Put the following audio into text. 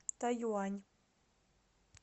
тайюань